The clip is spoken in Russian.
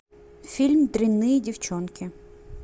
фильм дрянные девчонки